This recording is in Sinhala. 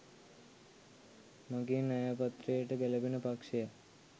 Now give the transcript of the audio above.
මගේ න්‍යාය පත්‍රයට ගැළපෙන පක්ෂයක්